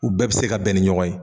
U bɛɛ be se ka bɛn ni ɲɔgɔn ye